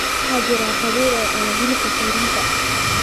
waxaa jira qabiil cuna hilib cayriin ah